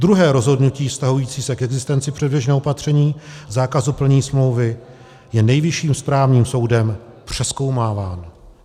Druhé rozhodnutí vztahující se k existenci předběžného opatření zákazu plnění smlouvy je Nejvyšším správním soudem přezkoumáváno.